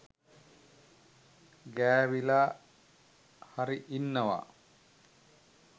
ගෑවිලා හරි ඉන්නවා.